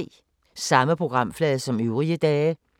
Samme programflade som øvrige dage